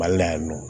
Mali la yan nɔ